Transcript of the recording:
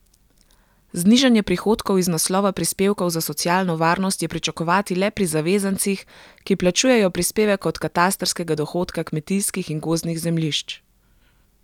Znižanje prihodkov iz naslova prispevkov za socialno varnost je pričakovati le pri zavezancih, ki plačujejo prispevek od katastrskega dohodka kmetijskih in gozdnih zemljišč.